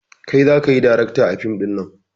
Kai zakayi darakta a fim ɗinnan